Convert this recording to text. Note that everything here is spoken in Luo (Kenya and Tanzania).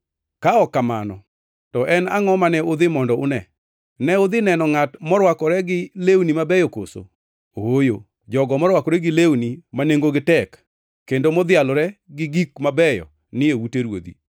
Ka ok mano, to en angʼo mane udhi mondo une? Ne udhi neno ngʼat morwakore gi lewni mabeyo koso? Ooyo, jogo marwakore gi lewni ma nengogi tek kendo madhialore gi gik mabeyo ni e ute ruodhi.